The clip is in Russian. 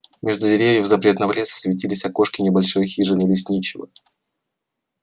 между деревьев запретного леса светились окошки небольшой хижины лесничего